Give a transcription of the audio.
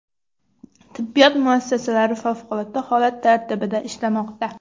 Tibbiyot muassasalari favqulodda holat tartibida ishlamoqda.